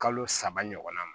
Kalo saba ɲɔgɔnna ma